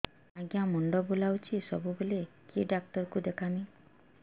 ଆଜ୍ଞା ମୁଣ୍ଡ ବୁଲାଉଛି ସବୁବେଳେ କେ ଡାକ୍ତର କୁ ଦେଖାମି